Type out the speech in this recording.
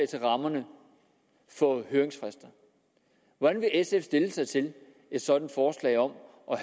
til rammerne for høringsfrister hvordan vil sf stille sig til et sådant forslag om at